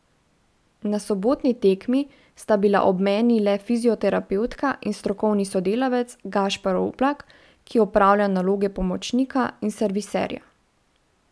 Na sobotni tekmi sta bila ob meni le fizioterapevtka in strokovni sodelavec Gašper Oblak, ki opravlja naloge pomočnika in serviserja.